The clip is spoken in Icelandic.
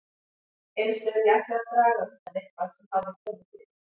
Eins ef ég ætlaði að draga undan eitthvað sem hafði komið fyrir.